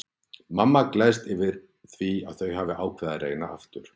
Mamma gleðst yfir því að þau hafi ákveðið að reyna aftur.